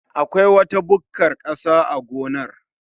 Akwai wata bukkar ƙasa a gonar